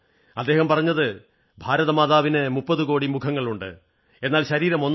അദ്ദേഹം പറഞ്ഞത് ഭാരതമാതാവിന് 30 കോടി മുഖങ്ങളുണ്ട് എന്നാൽ ശരീരം ഒന്നാണ്